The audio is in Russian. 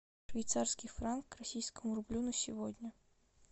швейцарский франк к российскому рублю на сегодня